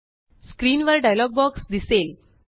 screen वर dialogue box दिसेल